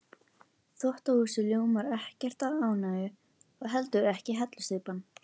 Þvottahúsið ljómar ekkert af ánægju og heldur ekki hellusteypan.